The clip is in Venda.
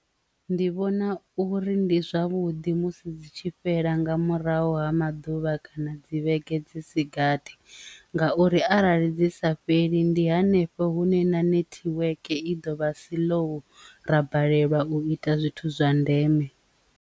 Ndi vhona uri ndi zwavhuḓi musi dzi tshi fhela nga murahu ha maḓuvha kana dzi vhege fhedzi isigathi ngauri arali dzi sa fheli ndi hanefho hune na netiweke i ḓo vha si lu ra balelwa u ita zwithu zwa ndeme.